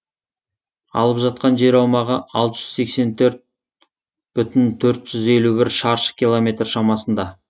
алып жатқан жер аумағы алты жүз сексен төрт бүтін төрт жүз елу бір шаршы километр шамасында